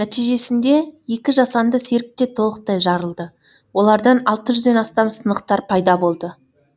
нәтижесінде екі жасанды серік те толықтай жарылды олардан алты жүзден астам сынықтар пайда болды